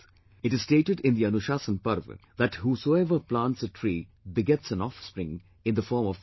It is stated in the Anushasan Parv that whosoever plants a tree begets an offspring in the form of that tree